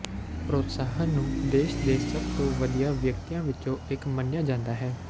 ਪ੍ਰੋਤਸਾਹਨ ਨੂੰ ਦੇਸ਼ ਦੇ ਸਭ ਤੋਂ ਵਧੀਆ ਵਿਅਕਤੀਆਂ ਵਿੱਚੋਂ ਇੱਕ ਮੰਨਿਆ ਜਾਂਦਾ ਹੈ